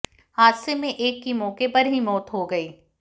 हादसे में एक की मौके पर ही मौत हो गई